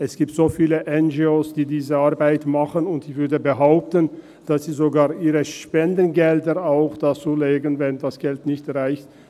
Es gibt so viele NGO, die diese Arbeit machen, und ich würde behaupten, dass sie sogar auch ihre Spendengelder dazulegen, wenn das Geld nicht reicht.